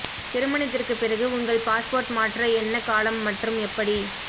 திருமணத்திற்குப் பிறகு உங்கள் பாஸ்போர்ட் மாற்ற என்ன காலம் மற்றும் எப்படி